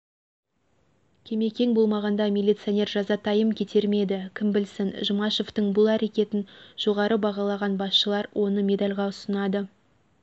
кемекең болмағанда миллицоинер жазатайым кетер ме еді кім білсін жұмашевтың бұл әрекетін жоғары бағалаған басшылар оны медальға ұсынады